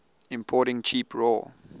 importing cheap raw